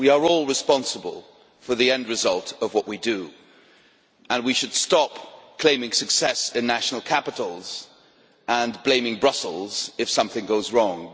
We are all responsible for the end result of what we do, and we should stop claiming success in national capitals and blaming Brussels if something goes wrong.